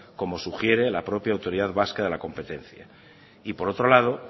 como sugiere la propia autoridad vasca de la competencia y por otro lado